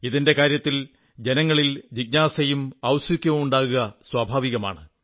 ഇതിന്റെ കാര്യത്തിൽ ജനങ്ങളിൽ ജിജ്ഞാസയും ഔത്സുക്യവും ഉണ്ടാവുക സ്വാഭാവികമാണ്